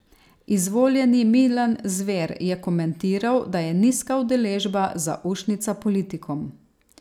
Izvoljeni Milan Zver je komentiral, da je nizka udeležba zaušnica politikom.